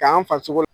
K'an faso